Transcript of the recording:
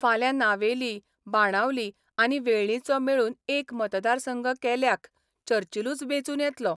फाल्यां नावेली, बाणावली आनी वेळ्ळींचो मेळून एक मतदारसंघ केल्याख्य चर्चिलूच बेंचून येतलो.